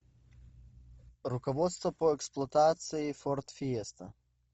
руководство по эксплуатации форд фиеста